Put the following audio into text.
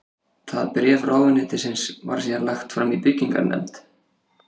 Það bréf ráðuneytisins var síðan lagt fram í byggingarnefnd